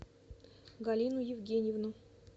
галину евгеньевну